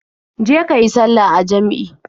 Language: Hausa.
Je ka yi sallah a jam'i.